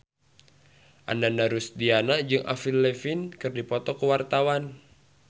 Ananda Rusdiana jeung Avril Lavigne keur dipoto ku wartawan